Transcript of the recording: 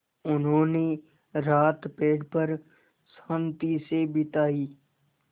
उन्होंने रात पेड़ पर शान्ति से बिताई